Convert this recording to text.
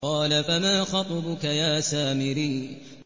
قَالَ فَمَا خَطْبُكَ يَا سَامِرِيُّ